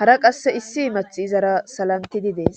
hara qasse issi imath izara salanti di dees